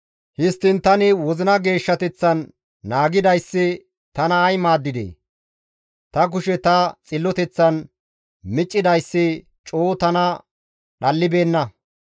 Histtiin tani wozina geeshshateththan naagidayssi tana ay maaddidee! Ta kushe ta xilloteththan meeccidayssi coo tana dhallibeenna.